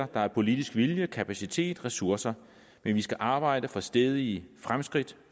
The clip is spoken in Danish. der er politisk vilje kapacitet og ressourcer vi vi skal arbejde for stædige fremskridt